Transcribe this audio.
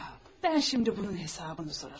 Mən şimdi bunun hesabını sorarım.